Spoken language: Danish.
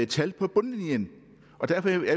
tal på bundlinjen